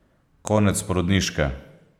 Konec porodniške!